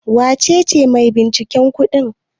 Wace ce maibinciken kudin?